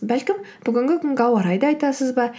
бәлкім бүгінгі күнгі ауа райды айтасыз ба